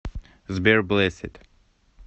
сбер блэссед